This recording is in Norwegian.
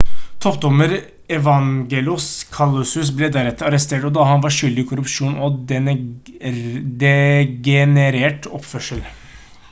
toppdommer evangelos kalousis ble deretter arrestert da han var skyldig i korrupsjon og degenerert oppførsel